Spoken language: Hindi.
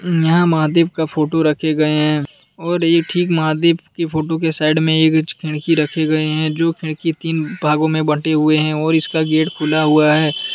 यहां महादेव का फोटो रखे गए हैं और ये ठीक महादेव की फोटो के साइड में एक खिड़की रखे गए हैं जो खिड़की तीन भागों में बंटे हुए हैं और इसका गेट खुला हुआ है।